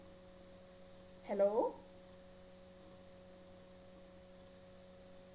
hello